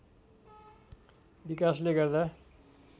विकासले गर्दा